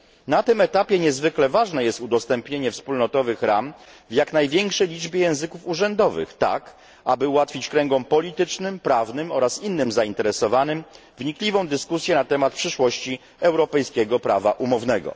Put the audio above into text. Na tym etapie niezwykle ważne jest udostępnienie wspólnotowych ram w jak największej liczbie języków urzędowych, tak aby ułatwić kręgom politycznym, prawnym oraz innym zainteresowanym wnikliwą dyskusję na temat przyszłości europejskiego prawa umownego.